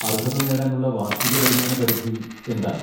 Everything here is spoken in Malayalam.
അർഹത നേടാൻ ഉള്ള വാർഷിക വരുമാന പരിധി എന്താണ്?